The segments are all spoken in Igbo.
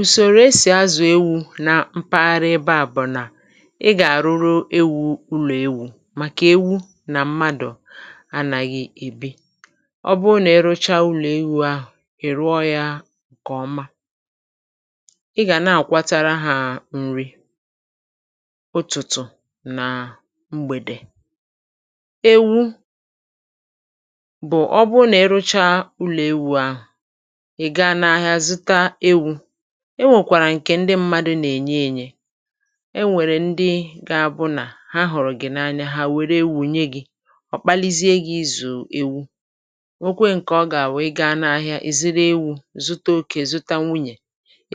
ùsòrò e sì azụ̀ ewu̇ na mpaghara ebe à bụ̀ nà ị gà-àrụrụ ewu̇ ụlọ̀ ewu̇ màkà ewu̇ nà mmadụ̀ anàghị̀ ebe ọ bụrụ nà e rụchà ụlọ̀ ewu̇ ahụ̀ ị̀ rụọ yȧ ǹkè ọma, ị gà na-àkwatara hȧ nri ụ̀tụ̀tụ̀ nà mgbèdè. ewu̇ bụ̀ ọ̀kpụkpụ akụ̀ nà akụ̀, ọ bụrụ nà e rụchà ụlọ̀ ewu̇ ahụ̀ e nwèkwàrà ǹkè ndị mmadụ nà-ènye ènye um e nwèrè ndị gȧ-abụ̇nà ha hụ̀rụ̀ gị̀ n’anya ha wèrè ewu̇ nye gị̇ ọ̀ kpalizie gị̇ izù ewu̇ nwokwe ǹkè ọ gà-à wèe gaa n’ahịa èziri ewu̇ zute okė zuta nwunyè,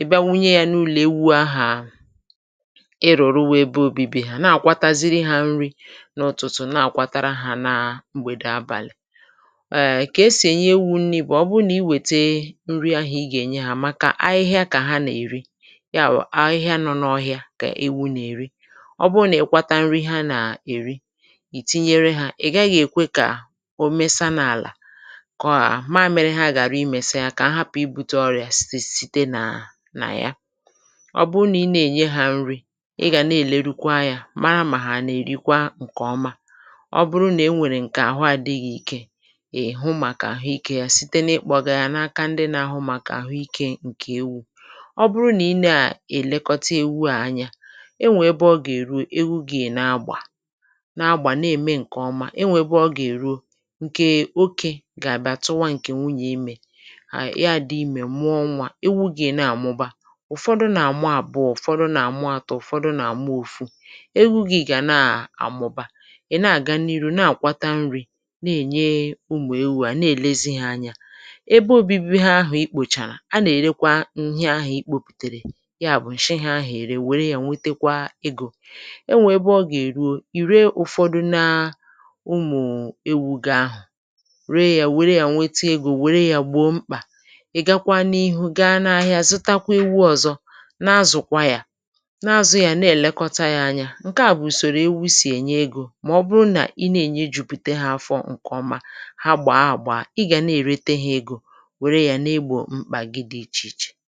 ị̀ bịa wunye yȧ n’ụlọ̀ ewu̇ ahụ̀ iròrò wee bụ̇ obibi, na-àkwatara hȧ nri n’ụ̀tụ̀tụ̀, na-àkwatara hȧ na mgbèdè wàbàlì. kà esì ènye ewu̇ nri bụ̀, ọ bụrụ nà i wète yawụ̀ ahụhịa nọ n’ọhịȧ kà ewu̇ nà-èri, ọ bụrụ nà ị kwàtà nri ihe a nà-èri ì tinyere hȧ, ị̀ gaghị̇ èkwe kà o mesà n’àlà kọ̀ọ à mààmere, ha gàrà imèsà ya kà ahapụ̀, ị bute ọrị̀à site nà nà ya. ọ bụrụ nà ị na-ènye hȧ nri, ị gà na-èlerukwa yȧ mara mà ha nà-èrikwa ǹkèọma, ọ bụrụ nà e nwèrè ǹkè àhụ adịghị ikė, è hụ màkà àhụ ikė yȧ site nà-ekpọgà yà n’aka ndị nà-ahụ̇ màkà. ọ bụrụ nà i nà-àlekọta ewu̇ à anya, e nwè ebe ọ gà-èruo, ewu̇ gà-èna agbà na-agbà, na-ème ǹkè ọma. e nwè ebe ọ gà-èruo, ǹkè oke gà-àbịa tụwa ǹkè nwunyè, imè ya dị̇ imè, mụọ nwa, ewu̇ gà-èna àmụba — ụ̀fọdụ nà-àmụ àbụ̀, ụ̀fọdụ nà-àmụ atụ̇, ụ̀fọdụ nà-àmụ ofù egwughị̇ gà na-àmụba. ị̀ na-àga n’iru na-àkwata nri̇ na-ènye ụmụ̀ ewu̇, à na-èlezi hȧ anya, a nà-èrekwa ǹihe ahụ̀ ikpòpùtèrè ya bụ̀ ǹshịahụ̀, ère wèrè yȧ nwetekwa egò. e nwè ebe ọ gà-èruo, ì ree ụ̀fọdụ na ụmụ̀ ewu̇ ga-ahụ̀, ree yȧ, wèrè yȧ, nweta egò, wèrè yȧ, gbȯ mkpà, ị̀ gakwa n’ihu gaa n’ahịa zitakwa ewu̇ ọ̇zọ, n’azụ̀kwa yȧ, n’azụ̇ yȧ, na-èlekọta yȧ anya. ǹkè à bụ̀ ùsòrò ewu̇ sì ènye egò, mà ọ bụrụ nà ị na-ènye jupute hȧ afọ ǹkè ọma ha gbàa àgba, ị gà na-èrete hȧ egò, ihe à gị dị̇ ichè ichè.